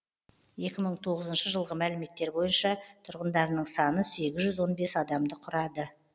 екі мың тоғызыншы жылғы мәліметтер бойынша тұрғындарының саны сегіз жүз он бес адамды құрады